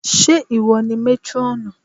Ṣé ìwọ ni métrọ́ọ̀nù?